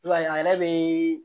I b'a ye a yɛrɛ be